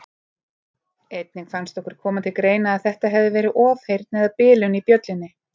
Einnig fannst okkur koma til greina að þetta hefði verið ofheyrn eða bilun í bjöllunni.